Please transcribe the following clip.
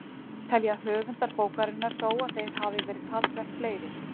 Telja höfundar bókarinnar þó að þeir hafi verið talsvert fleiri.